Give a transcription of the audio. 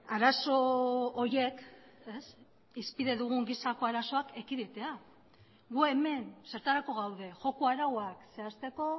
arazo horiek hizpide dugun gisako arazoak ekiditea gu hemen zertarako gaude joko arauak zehazteko